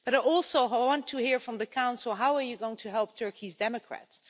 But also, I want to hear from the Council, how are you going to help Turkey's democrats?